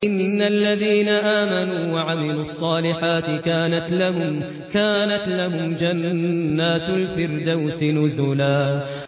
إِنَّ الَّذِينَ آمَنُوا وَعَمِلُوا الصَّالِحَاتِ كَانَتْ لَهُمْ جَنَّاتُ الْفِرْدَوْسِ نُزُلًا